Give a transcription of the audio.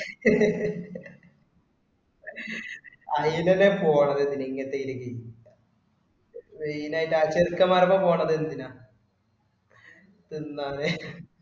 ഐയെന് എന്തിനാ പോണത് പിന്നെ ഇങ്ങനത്തെ ഇവിടേയ്ക്ക്. വെയിലായിട്ടു ആ ചെക്കന്മാരുടെ അടുക്കൽ പോണത് എന്തിനാ? ഇതെന്താണ്